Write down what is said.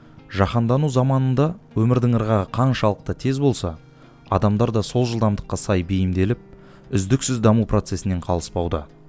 жаһандану заманында өмірдің ырғағы қаншалықты тез болса адамдар да сол жылдамдыққа сай бейімделіп үздіксіз даму процесінен қалыспауда